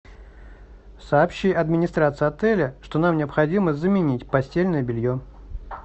сообщи администрации отеля что нам необходимо заменить постельное белье